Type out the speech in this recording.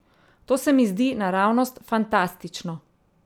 To se mi zdi naravnost fantastično.